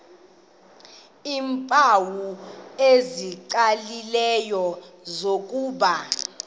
iimpawu ezicacileyo zokuba